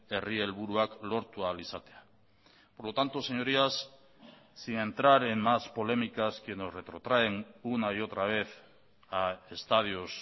herri helburuak lortu ahal izatea por lo tanto señorías sin entrar en más polémicas que nos retrotraen una y otra vez a estadios